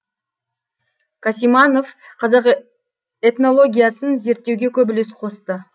қасиманов қазақ этнологиясын зерттеуге көп үлес қосты